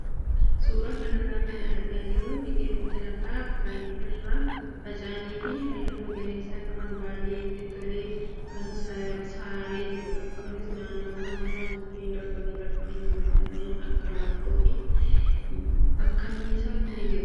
Suuraa kanarraa kan agarru biqiloota lafa bal'aairra faca'anii fi halluu magariisa qaban baay'ee itti tolee kan saaree jirudha. Kunis naannawaan isaa mukkeen darbanii darbanii jiran kanneen akka laaftoo fi bakkanniisaa ni jiru.